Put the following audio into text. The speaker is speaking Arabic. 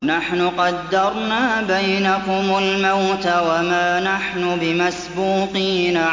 نَحْنُ قَدَّرْنَا بَيْنَكُمُ الْمَوْتَ وَمَا نَحْنُ بِمَسْبُوقِينَ